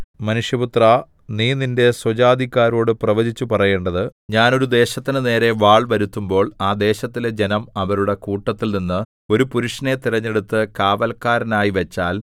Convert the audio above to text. മനുഷ്യപുത്രാ നീ നിന്റെ സ്വജാതിക്കാരോടു പ്രവചിച്ച് പറയേണ്ടത് ഞാൻ ഒരു ദേശത്തിന്റെ നേരെ വാൾ വരുത്തുമ്പോൾ ആ ദേശത്തിലെ ജനം അവരുടെ കൂട്ടത്തിൽനിന്ന് ഒരു പുരുഷനെ തിരഞ്ഞെടുത്ത് കാവല്ക്കാരനായിവച്ചാൽ